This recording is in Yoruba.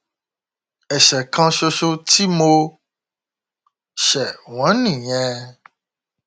ẹsẹ kan ṣoṣo tí mo ṣe wọn nìyẹn